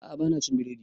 A'a ba na cin biredi